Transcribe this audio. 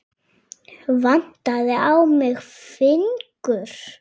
Vantaði á mig fingur?